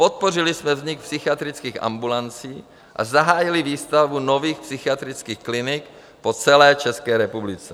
Podpořili jsme vznik psychiatrických ambulancí a zahájili výstavbu nových psychiatrických klinik po celé České republice.